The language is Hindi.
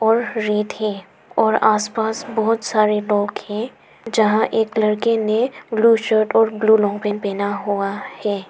और रेत है और आस पास बहुत सारे लोग हैं जहां एक लड़के ने ब्लू शर्ट और ब्लू लोअर पहना हुआ है।